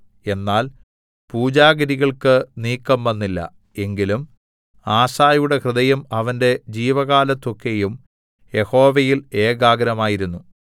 എന്നാൽ പൂജാഗിരികൾക്ക് നീക്കംവന്നില്ല എങ്കിലും ആസയുടെ ഹൃദയം അവന്റെ ജീവകാലത്തൊക്കെയും യഹോവയിൽ ഏകാഗ്രമായിരുന്നു